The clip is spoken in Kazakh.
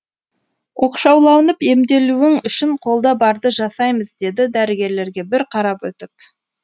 оқшауланып емделуің үшін қолда барды жасаймыз деді дәрігерлерге бір қарап өтіп